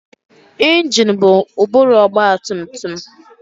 Ingine bụ ụbụrụ ọgbatumtum.